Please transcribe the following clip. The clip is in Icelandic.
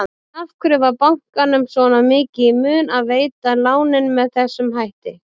En af hverju var bankanum svona mikið í mun að veita lánin með þessum hætti?